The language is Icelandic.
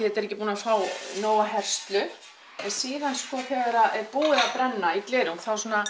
þetta er ekki búið að fá nóga herslu en síðan sko þegar að búið að brenna í glerung